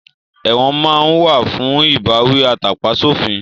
Ẹ̀wọ̀n máa ń wà fún ìbáwí atàpa sófin